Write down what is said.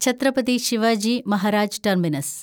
Chhatrapati Shivaji Maharaj terminus